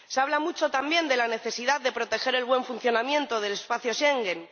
Se habla mucho también de la necesidad de proteger el buen funcionamiento del espacio Schengen.